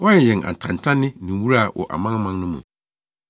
Woayɛ yɛn atantanne ne nwura wɔ amanaman no mu.